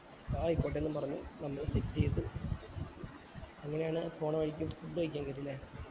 ആയിക്കോട്ടെ ന്നും പറഞ്ഞു നമ്മള് ചെയ്തു അങ്ങനെയാണ് പോണ വഴിക്ക് food കഴിക്കാൻ കേറിയെ ല്ലേ